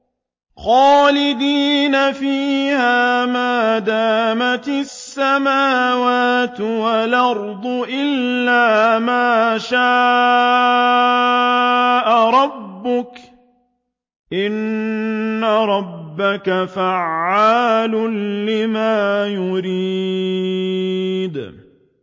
خَالِدِينَ فِيهَا مَا دَامَتِ السَّمَاوَاتُ وَالْأَرْضُ إِلَّا مَا شَاءَ رَبُّكَ ۚ إِنَّ رَبَّكَ فَعَّالٌ لِّمَا يُرِيدُ